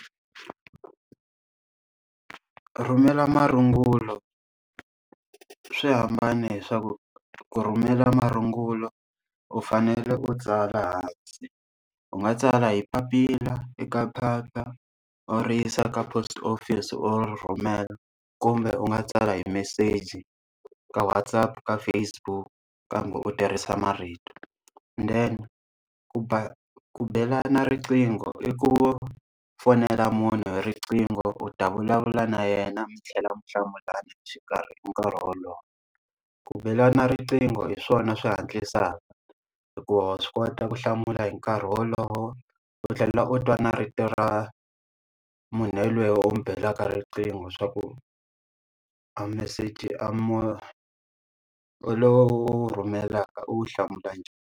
Ku rhumela marungula swi hambane hi swa ku ku rhumela marungula, u fanele u tsala hansi. U nga tsala hi papila i ka phepha u ri yisa ka post office u ri rhumela, kumbe u nga tsala hi meseji ka WhatsApp, ka Facebook kambe u tirhisa marito. Then ku ku belana riqingho i ku fonela munhu hi riqingho, u ta vulavula na yena mi tlhela mi hlamulana nkarhi wolowo. ku belana riqingho hi swona swi hatlisaka hikuva wa swi kota ku hlamula hi nkarhi wolowo, u tlhela u twa na rito ra munhu yoloye u n'wi belaka riqingho swa ku a meseji a lowu u wu rhumelaka u wu hlamula njhani.